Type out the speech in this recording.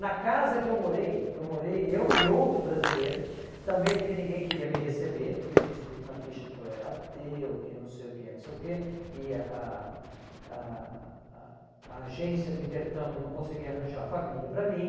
Na casa que eu morei, eu morei, eu e outro brasileiro, também porque ninguém queria me receber, porque eu tinha escrito na ficha que eu era ateu, que não sei o quê, não sei o quê, e a a a a agência do intercâmbio não conseguia arranjar família para mim.